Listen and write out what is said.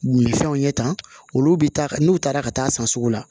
Wulifɛnw ye tan olu bɛ taa ka n'u taara ka taa san sugu la